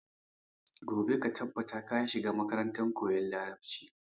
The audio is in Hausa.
Gobe ka tabbata ka shiga makarantar koyan Larabci.